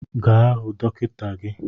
Gaa hụ dọkịta gi!